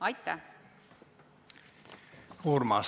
Aitäh!